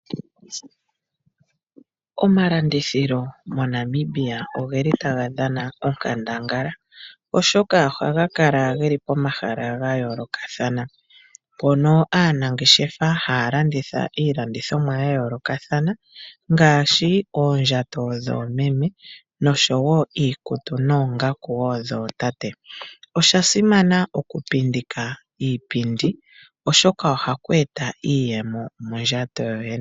Omalandithilo moNamibia otaga dhana onkandangala, oshoka ohaga kala ge li pomahala ga yoolokathana mpono aanangeshefa haya landitha iilandithomwa ya yoolokathana ngaashi oondjato dhoomeme nosho wo iikutu noongaku wo dhootate. Osha simana okupindika iipindi, oshoka ohaku eta iiyemo mondjato yoye.